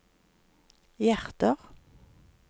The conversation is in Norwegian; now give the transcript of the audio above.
hjerter